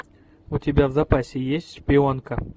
у тебя в запасе есть шпионка